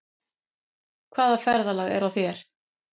Hvaða ferðalag er á þér?